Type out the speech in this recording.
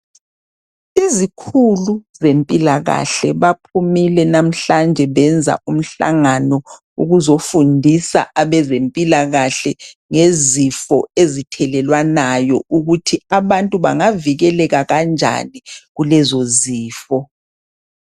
Izikhulu zempilakahle baphumile namhlanje benza umhlangano ukuzofundisa abezempilakahle ngezifo ezithelelwanayo ukuthi abantu bangavikeleka kanjani kulezozifo.